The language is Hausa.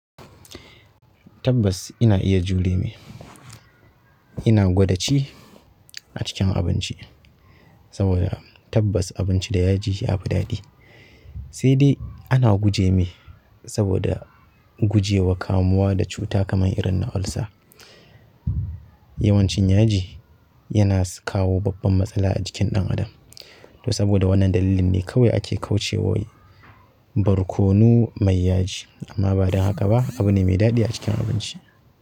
Tabbas ina iya jure mai. Ina gwadaci a cikin abinci saboda tabbas abinci da yaji ya fi daɗi. Sai dai ana guje mai saboda guje wa kamuwa da cuta kamar irin na ulcer. Yawancin yaji yana kawo babban matsala a jikin ɗan adam. To saboda wannan dalilin ne kawai ake kauce wai barkonu mai yaji amma ba don haka ba abu ne mai daɗi a cikin abinci.